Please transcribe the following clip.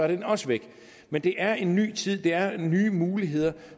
den også væk men det er en ny tid det er nye muligheder